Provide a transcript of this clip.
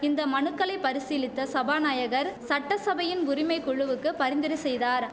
இந்த மனுக்களைப் பரிசீலித்த சபாநாயகர் சட்டசபையின் உரிமை குழுவுக்கு பரிந்துரை செய்தார்